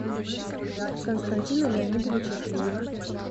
константина леонидовича плиева